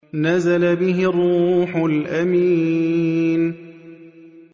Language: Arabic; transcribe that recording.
نَزَلَ بِهِ الرُّوحُ الْأَمِينُ